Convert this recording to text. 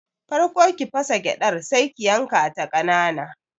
Farko ki fasa gyadar Sai ki yankata kanana.